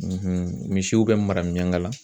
misiw bɛ mara miyankala